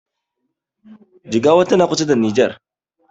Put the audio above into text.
Jigawa tana kusa da nijer